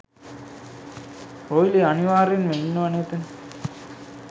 රොයිලි අනිවාර්යෙන්ම ඉන්නවනේ එතන.